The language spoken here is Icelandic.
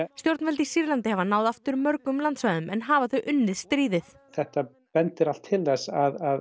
stjórnvöld í Sýrlandi hafa náð aftur mörgum landsvæðum en hafa þau unnið stríðið þetta bendir allt til þess að